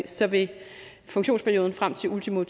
så vil funktionsperioden frem til ultimo